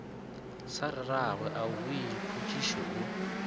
sa rragwe aowii khutšišo o